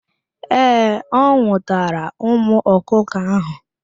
Ee, ọ nwụtara ụmụ ọkụkọ ahụ.